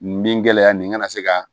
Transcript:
Nin gɛlɛya nin kana se ka